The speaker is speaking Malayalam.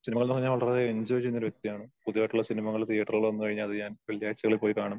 സിനിമ എന്ന് പറഞ്ഞ വളരെ എൻജോയ് ചെയ്യുന്ന വ്യക്തിയാണ്. പുതിയതായിട്ടുള്ള സിനിമകള് തിയറ്ററുകളിൽ വന്നുകഴിഞ്ഞാ അത് ഞാൻ വെള്ളിയാഴ്ചകളിൽ പോയി കാണും.